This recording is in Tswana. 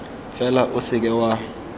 fela o se ka wa